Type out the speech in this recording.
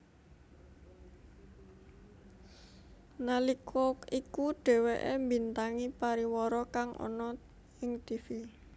Nalika iku dheweké mbintangi pariwara kang ana ing tivi